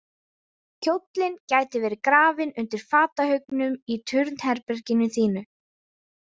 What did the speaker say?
Kjóllinn gæti verið grafinn undir fatahaugnum í turnherberginu þínu.